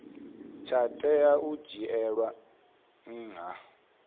tsha tea u dzhielwa nha